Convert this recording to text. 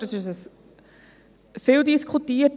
Wir haben es gehört, es wurde viel diskutiert.